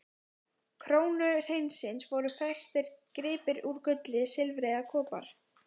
krónu hreinsins voru festir gripir úr gulli, silfri eða kopar.